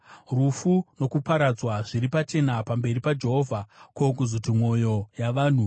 Rufu nokuparadzwa zviri pachena pamberi paJehovha, ko, kuzoti mwoyo yavanhu!